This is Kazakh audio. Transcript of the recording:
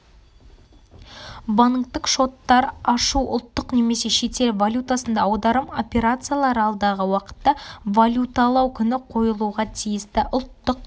банктік шоттар ашу ұлттық немесе шетел валютасында аударым операциялары алдағы уақытта валюталау күні қойылуға тиісті ұлттық